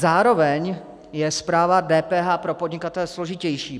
Zároveň je správa DPH pro podnikatele složitější.